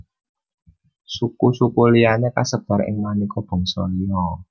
Suku suku liyané kasebar ing manéka bangsa liya